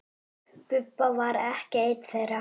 Bubba var ekki einn þeirra.